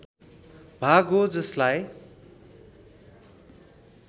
भाग हो जसलाई